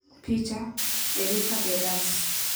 Picha: Erika Beras